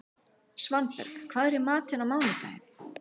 Svanberg, hvað er í matinn á mánudaginn?